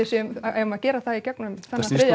eigum að gera það í gegnum þennan þriðja